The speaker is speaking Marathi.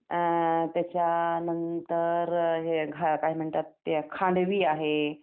अ त्याच्या नंतर हे काय म्हणतात त्याला खांडवी आहे.